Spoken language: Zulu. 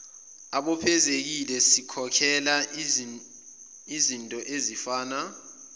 ababophezekile sikhokhela izintoezifana